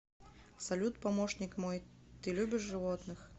салют помощник мой ты любишь животных